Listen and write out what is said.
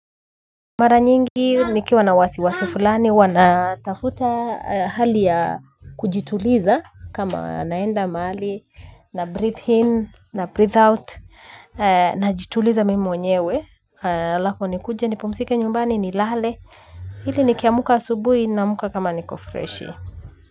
Mara nyingi nikiwa na wasiwasi fulani huwa natafuta hali ya kujituliza kama naenda mahali nabreathe in nabreathe out najituliza mimi mwenyewe, alafu nikuje nipumzike nyumbani nilale ili nikiamka asubuhi naamka kama niko freshi.